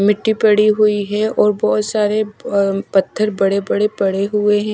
मिट्टी पड़ी हुई है और बहोत सारे अम पत्थर बडे़ बड़े पड़े हुए हैं।